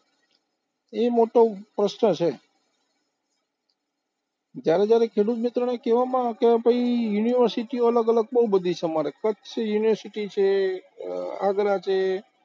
એ મોટો પ્રશ્ન છે, જયારે જયારે ખેડૂત મિત્રોને કહેવામાં આવે કે ભાઈ, university ઓ અલગ-અલગ બોવ બધી છે અમારે, કચ્છ university છે, આગ્રા છે